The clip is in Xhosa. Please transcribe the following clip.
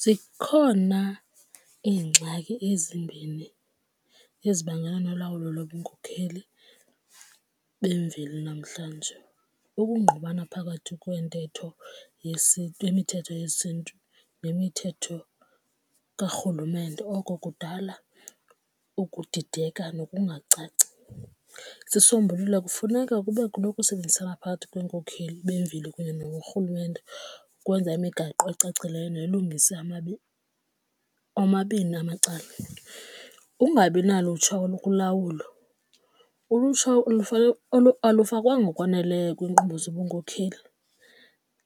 Zikhona iingxaki ezimbini ezibangela nolawulo lobunkokheli bemveli namhlanje. Ukungqubana phakathi kweentetho yesiNtu kwemithetho yesiNtu nemithetho karhulumente. Oko kudala ukudideka nokungacaci. Isombululo kufuneka kube khona ukusebenzisana phakathi kweenkokheli bemveli kunye norhulumente ukwenza imigaqo ocacileyo nelungisa omabini amacala. Ukungabi nalutsha olukulawulo ulutsha olufakwanga ngokwaneleyo kwiinkqubo zobunmkokeli.